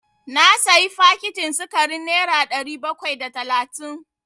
Na sayi fakitin sikarin nera ɗari bakwai da talatin.